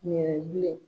Ɲɛnɛbɔ bilen